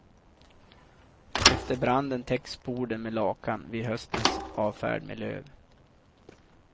Efter branden täcks borden med lakan, vid höstens avfärd med löv.